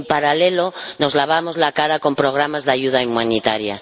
Y, en paralelo, nos lavamos la cara con programas de ayuda humanitaria.